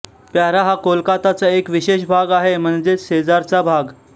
para हा कोलकाताचा एक विशेष भाग आहे म्हणजेच शेजारचा भाग